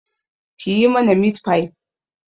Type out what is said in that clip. Kiyi mana mitfai